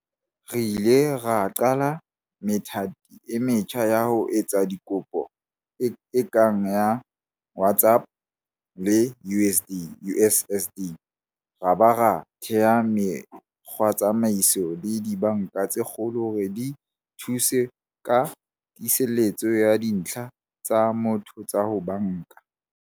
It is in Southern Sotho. Re ile ra qala methati e metjha ya ho etsa dikopo e kang ya WhatsApp le USSD, ra ba ra thea mekgwatsamaiso le dibanka tse kgolo hore di thuse ka tiiseletso ya dintlha tsa motho tsa ho banka.